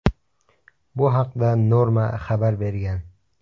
Bu haqda Norma xabar bergan .